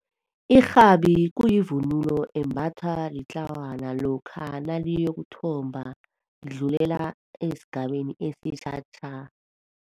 Irhabi kuyivunulo embathwa litlawana lokha naliyokuthomba, lidlulela esigabeni esitjha tja.